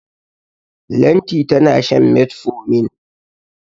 Lanti tana shan metformin.